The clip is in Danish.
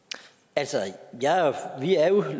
altså vi er